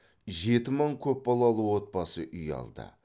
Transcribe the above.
жеті мың көпбалалы отбасы үй алды